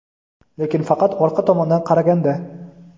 lekin faqat orqa tomondan qaraganda.